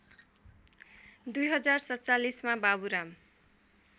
०४७ मा बाबुराम